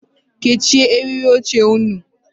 Kechie eriri oche ụnụ.